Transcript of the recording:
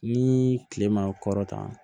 Ni kile ma kɔrɔtan